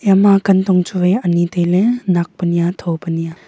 eya ma kan tong chu wai ani tai ley nak pe niya tha pr niya.